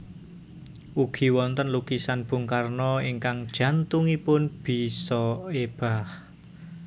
Ugi wonten lukisan Bung Karno ingkang jantungipun bisa ebah